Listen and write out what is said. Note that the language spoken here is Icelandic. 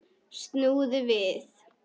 Snúðu við!